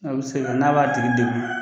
Aw be se ka n'a b'a tigi degun